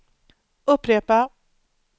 upprepa